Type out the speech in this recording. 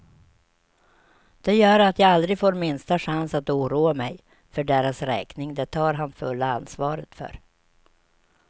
Det gör att jag aldrig får minsta chans att oroa mig för deras räkning, det tar han fulla ansvaret för.